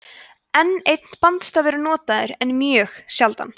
enn einn bandstafur er notaður en mjög sjaldan